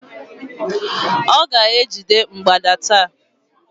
Ọ ga-ejide mgbada taa